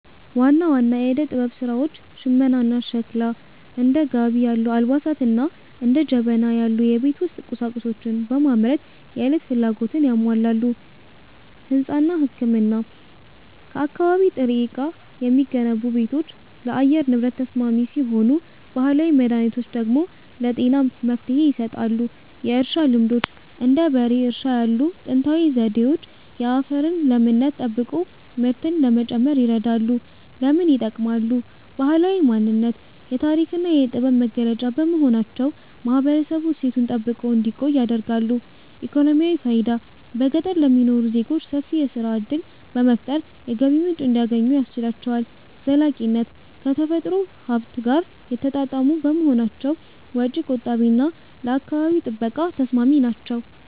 ዋና ዋና የዕደ-ጥበብ ሥራዎች ሽመናና ሸክላ፦ እንደ ጋቢ ያሉ አልባሳትንና እንደ ጀበና ያሉ የቤት ውስጥ ቁሳቁሶችን በማምረት የዕለት ፍላጎትን ያሟላሉ። ሕንጻና ሕክምና፦ ከአካባቢ ጥሬ ዕቃ የሚገነቡ ቤቶች ለአየር ንብረት ተስማሚ ሲሆኑ፣ ባህላዊ መድኃኒቶች ደግሞ ለጤና መፍትሔ ይሰጣሉ። የእርሻ ልማዶች፦ እንደ በሬ እርሻ ያሉ ጥንታዊ ዘዴዎች የአፈርን ለምነት ጠብቆ ምርትን ለመጨመር ይረዳሉ። ለምን ይጠቅማሉ? ባህላዊ ማንነት፦ የታሪክና የጥበብ መገለጫ በመሆናቸው ማህበረሰቡ እሴቱን ጠብቆ እንዲቆይ ያደርጋሉ። ኢኮኖሚያዊ ፋይዳ፦ በገጠር ለሚኖሩ ዜጎች ሰፊ የሥራ ዕድል በመፍጠር የገቢ ምንጭ እንዲያገኙ ያስችላቸዋል። ዘላቂነት፦ ከተፈጥሮ ሀብት ጋር የተጣጣሙ በመሆናቸው ወጪ ቆጣቢና ለአካባቢ ጥበቃ ተስማሚ ናቸው።